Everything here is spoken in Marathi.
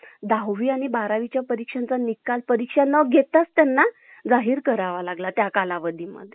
कथा ऐकणे. झोपायला खूप आनंद व्हायचा. त्यांची कथा मनोरंजनाबरोबरच शिकवण ही असायची. गावात वीज कमी असल्याने